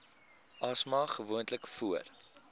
asma gewoonlik voor